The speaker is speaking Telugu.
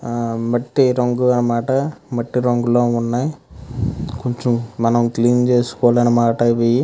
ఆ మట్టి రంగు అనమాట మట్టి రంగు లో వున్నాయ్ కొంచెం మనం క్లీన్ చేసుకోవాలి అనమాట ఇవి.